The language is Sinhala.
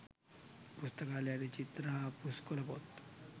පුස්තකාලයේ ඇති චිත්‍ර හා පුස්කොළ පොත්